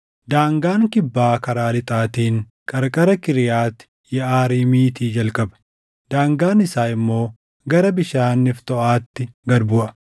Daangaan kibbaa karaa lixaatiin qarqara Kiriyaati Yeʼaariimiitii jalqaba; daangaan isaa immoo gara bishaan Neftooʼaatti gad buʼa.